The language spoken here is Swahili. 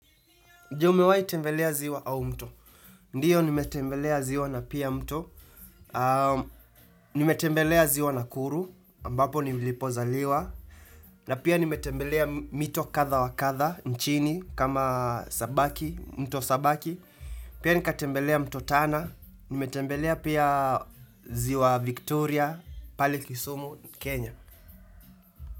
Je umewahi tembelea ziwa au mto. Ndio nimetembelea ziwa na pia mto. Nimetembelea ziwa Nakuru, ambapo nilipozaliwa. Na pia nimetembelea mito kadha wa kadha, nchini, kama sabaki, mto sabaki. Pia nikatembelea mto Tana. Nimetembelea pia ziwa Victoria, pale Kisumu, Kenya.